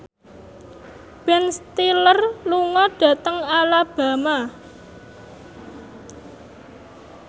Ben Stiller lunga dhateng Alabama